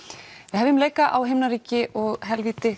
hefjum leika á himnaríki og helvíti